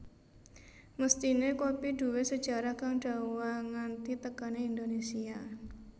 Mesthiné kopi duwé sejarah kang dawa nganti tekané Indonésia